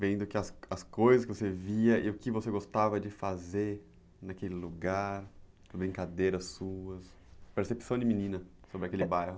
vendo as coisas que você via e o que você gostava de fazer naquele lugar, brincadeiras suas, percepção de menina sobre aquele bairro?